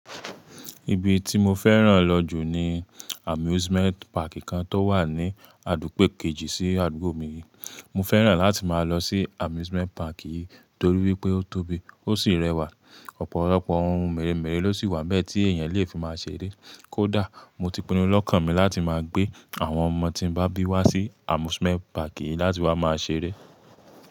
Ibi tí mo fẹ́ràn lọ jù ni amusement park kan tó wà ní àdúgbà kejì sí àdúgbò mi. Mo fẹ́ràn láti máa lọ sí amusement park yìí torí wípé ó tóbi, ó sì rẹwà. Ọ̀pọ̀lọpọ̀ ohun mèremère ló sì wà bẹ́ẹ̀ tí èèyàn lè fi máa ṣeré. Kódà mo ti pinnu lọ́kàn mi láti máa gbé àwọn ọmọ tí n bá bí wá sí amusement park yìí láti wá máa ṣeré.